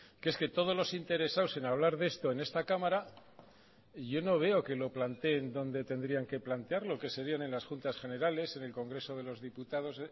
que es que todos los interesados en hablar de esto en esta cámara yo no veo que lo planteen donde tendrían que plantearlo que serían en las juntas generales en el congreso de los diputados